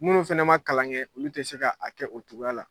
Minnu fɛnɛ ma kalan kɛ olu tɛ se ka a kɛ o cogoya la.